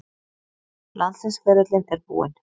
Landsliðsferillinn er búinn.